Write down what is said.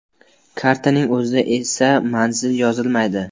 Kartaning o‘zida esa manzil yozilmaydi.